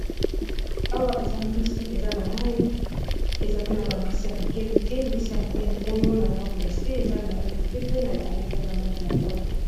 awa eza mbisi eza na mai eza pe na bambisi ya mike mike mbisi ya monene oyo na ngambu ya se eza na lange ya pembe na likole eza na lange ya mbwe